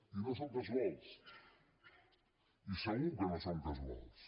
i no són casuals i segur que no són casuals